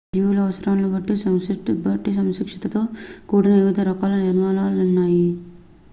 జీవుల అవసరాలను బట్టి సంక్లిష్టతతో కూడిన వివిధ రకాల నిర్మాణాలు న్నాయి